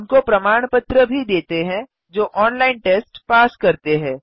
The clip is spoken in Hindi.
उनको प्रमाण पत्र भी देते हैं जो ऑनलाइन टेस्ट पास करते हैं